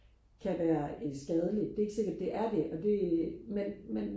kan være øh skadeligt det er ikke sikkert det er det og det men men